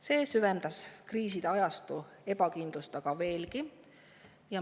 See on kriiside ajastul ebakindlust veelgi süvendanud.